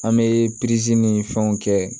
An bɛ ni fɛnw kɛ